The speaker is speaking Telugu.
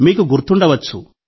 మీకు గుర్తుండవచ్చు